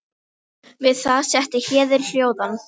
Við það setti Héðin hljóðan.